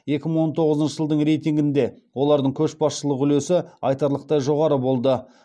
екі мың он тоғызыншы жылдың рейтингінде олардың көшбасшылық үлесі айтарлықтай жоғары болды